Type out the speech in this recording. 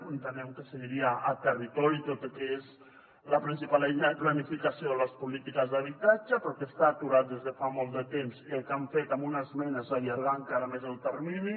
entenem que seguiria a territori tot i que és la principal eina de planificació de les polítiques d’habitatge però que està aturat des de fa molt de temps i el que han fet amb una esmena és allargar encara més el termini